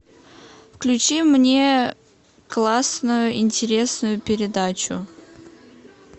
включи мне классную интересную передачу